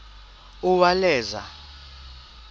uwaleza